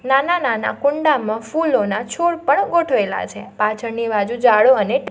નાના-નાના કુંડામાં ફૂલોના છોડ પણ ગોઠવેલા છે પાછળની બાજુ ઝાડો અને --